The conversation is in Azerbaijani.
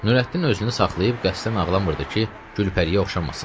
Nurəddin özünü saxlayıb qəsdən ağlamırdı ki, Gülpəriyə oxşamasın.